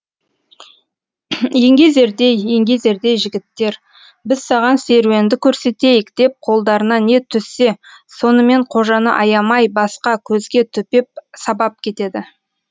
еңгезердей еңгезердей жігіттер біз саған серуенді көрсетейік деп қолдарына не түссе сонымен қожаны аямай басқа көзге төпеп сабап кетеді